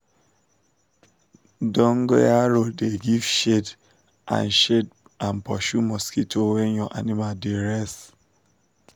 dongoyaro da give shade and shade and pursue mosquito when your animal da rest